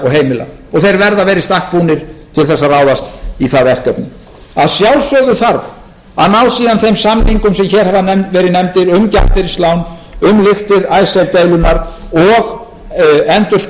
heimila og þeir verða að vera í stakk búnir til þess að ráðast í það verkefni að sjálfsögðu þarf að ná síðan þeim samningum sem hér hafa verið nefndir um gjaldeyrislán um lyktir icesave deilunnar og endurskoðun samstarfsins við alþjóðagjaldeyrissjóðinn